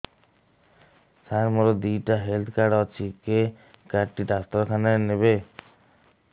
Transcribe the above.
ସାର ମୋର ଦିଇଟା health card ଅଛି କେ କାର୍ଡ ଟି ଡାକ୍ତରଖାନା ରେ ନେବେ